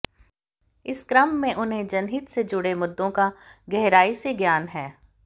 इस क्रम में उन्हें जनहित से जुड़े मुद्दों का गहराई से ज्ञान है